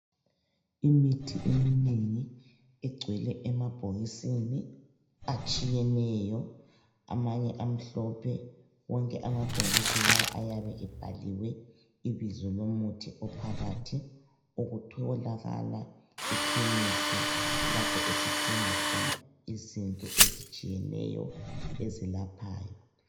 Imithi eminengi egcwele emabhokisini atshiyeneyo amanye amhlophe, wonke amabhokisi lawa ayabe ebhaliwe ibizo lomuthi ophakathi otholakala ekhemise lapho esidinga khona izinto ezitshiyeneyo ezelaphayo.